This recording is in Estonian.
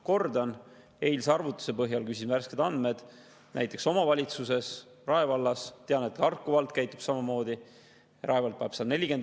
Kordan, eilse arvutuse põhjal, küsisin värsked andmed, paneb näiteks Rae vald – tean, et Harku vald käitub samamoodi – 140 eurot kuus õpetaja palgale lisaks.